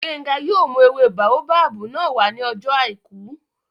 Gbénga yóò mú ewé báóbábù náà wá ní ọjọ́ àìkú